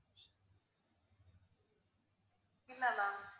இல்ல ma'am